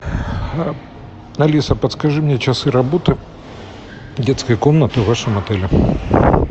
алиса подскажи мне часы работы детской комнаты в вашем отеле